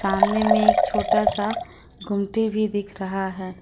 सामने में एक छोटा सा गुमती भी दिख रहा है।